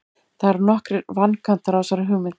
Það eru nokkrir vankantar á þessari hugmynd.